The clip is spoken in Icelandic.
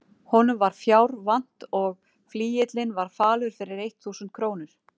Honum var fjár vant og flygillinn var falur fyrir eitt þúsund krónur.